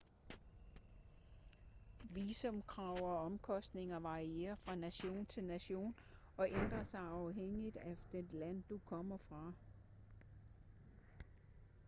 visumkrav og omkostninger varierer fra nation til nation og ændrer sig afhængigt af det land du kommer fra